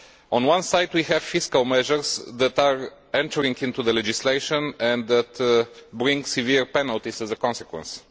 On one side we have fiscal measures that are entering into the legislation and that bring severe penalties as a consequence.